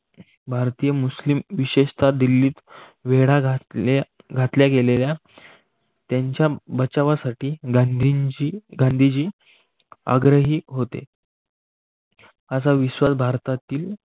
भातीय मुलिम विशेषता दिल्लीत वेडा घातल्या गेलेल्या त्यांच्या बचावासाठी गांधींची गांधीजी आग्रही होते. असा विश्वास भारतातील